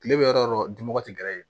Kile bɛ yɔrɔ o yɔrɔ tɛ gɛrɛ yen